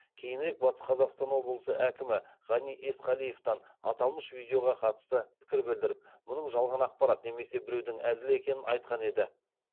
кейінірек батыс қазақстан облысы әкімі ғани есқалиевтан аталмыш видеоға қатысты пікір білдіріп мұның жалған ақпарат немесе біреудің әзілі екенін айтқан еді